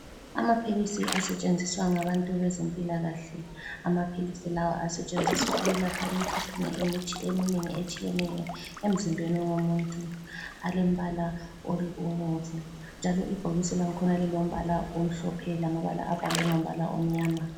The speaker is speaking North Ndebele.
Amaphilisi asetshenziswa ngabantu bezempilakahle, amaphilisi lawa asetshenziswa ukwelapha imikhuhlane eminengi etshiyeneyo emzimbeni womuntu. Alembala obomvu njalo ibhokisi langikhona lilombala omhlophe lamabala abhalwe ngombala omnyama.